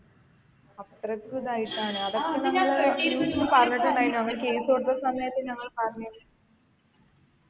അത്രക്കും ഇതായിട്ടാണ് ഞങ്ങൾ case കൊടുത്ത സമയത്ത് നമ്മൾ പറഞ്ഞ്